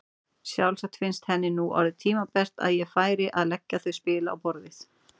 Sjálfsagt fannst henni nú orðið tímabært að ég færi að leggja þau spil á borðið!